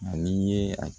Ani ye a